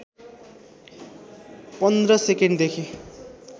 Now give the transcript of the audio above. १५ सेकेन्डदेखि